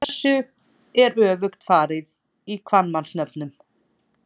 Þessu er öfugt farið í kvenmannsnöfnum.